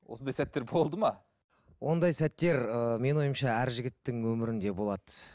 осындай сәттер болды ма ондай сәттер ыыы менің ойымша әр жігіттің өмірінде болады